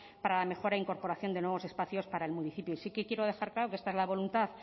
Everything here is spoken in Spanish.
para la mejora e incorporación de nuevos espacios para el municipio y sí que quiero dejar claro que esta es la voluntad